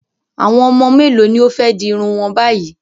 Àwọn ọmọ mélòó ni ó fẹ́ di irun wọn báyìí?